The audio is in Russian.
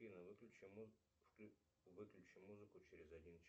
афина выключи выключи музыку через один час